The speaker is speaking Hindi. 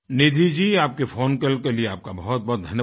निधि जी आपके फ़ोन कॉल के लिए बहुतबहुत धन्यवाद